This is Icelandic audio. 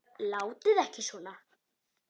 Látið ekki svona.